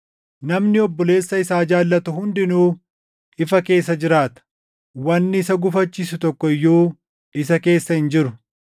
Namni obboleessa isaa jaallatu hundinuu ifa keessa jiraata; wanni isa gufachiisu tokko iyyuu isa keessa hin jiru.